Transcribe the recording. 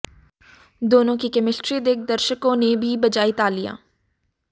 दोनों की केमिस्ट्री देख दर्शकों ने भी बजाई तालियां